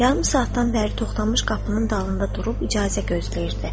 Yarım saatdan bəri Toxtamış qapının dalında durub icazə gözləyirdi.